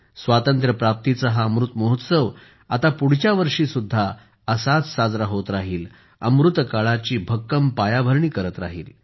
स्वातंत्र्य प्राप्तीचा हा अमृत महोत्सव आता पुढच्या वर्षीसुद्धा असाच साजरा होत राहिल अमृतकाळाची भक्कम पायाभरणी करत राहिल